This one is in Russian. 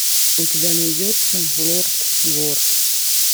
у тебя найдется лорд вор